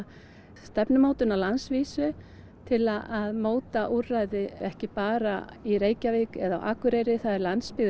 stefnumótun á landsvísu til að móta úrræði ekki bara í Reykjavík eða á Akureyri landsbyggðin